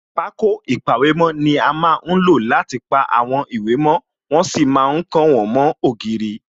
Pákó ìpàwèmó ni a má ń lò láti pa àwọn ìwé mo, wọ́n sì ma ń kàn wọ́n mó ògiri